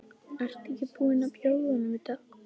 Ertu ekki búin að bjóða honum þetta?